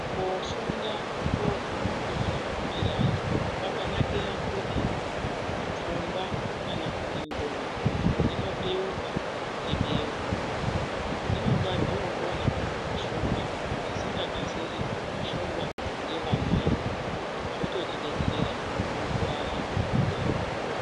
Koofunda kooguma kwazvinogumirayo ,kwakanakira kuti pfungwa kana kuti ndxondo, dzinobeuka kuti beu. Dzinonga dzookone kufunga zvisingakasiri kufungwa ngevamweni. Zvototidetsera mukurarama kwedu.